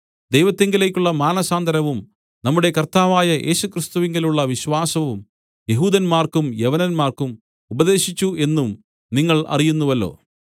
ദൈവത്തിങ്കലേക്കുള്ള മാനസാന്തരവും നമ്മുടെ കർത്താവായ യേശുക്രിസ്തുവിലുള്ള വിശ്വാസവും യെഹൂദന്മാർക്കും യവനന്മാർക്കും ഉപദേശിച്ചു എന്നും നിങ്ങൾ അറിയുന്നുവല്ലോ